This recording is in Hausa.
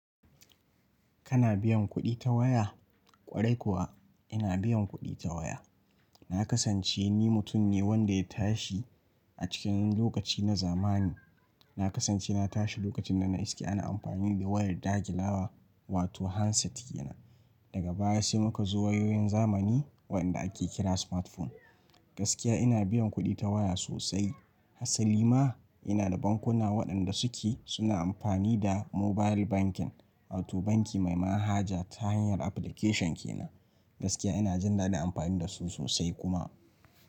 Kana biyan kuɗi ta waya? Kwarai kuwa ina biyan kuɗi ta waya. Na kasance ni mutum ne wanda ya tashi a cikin lokaci na zamani. Na kasance na tashi lokacin da na iske ana amfani da wayar dagilawa wato handset kenan. Daga baya sai muka zo wayoyin zamani waɗanda ake kira smartphone. Gaskiya ina biyan kuɗi ta waya sosai. Hasali ma ina da bankuna waɗanda suke suna amfani da mobile banking, wato banki mai manhaja ta hanyar application kenan. Gaskiya ina jin daɗin amfani da su sosai kuma.